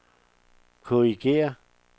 korrigér